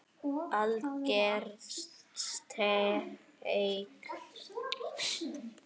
Alger steik